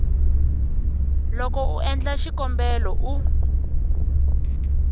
loko u endla xikombelo u